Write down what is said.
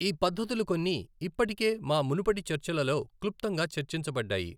ఈ పద్ధతులు కొన్ని ఇప్పటికే మా మునుపటి చర్చలలో క్లుప్తంగా చర్చించబడ్డాయి.